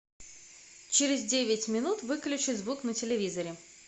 через девять минут выключи звук на телевизоре